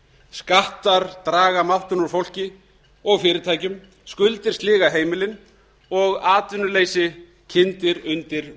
skattar draga máttinn úr fólki og fyrirtækjum skuldir sliga heimilin og atvinnuleysi kyndir undir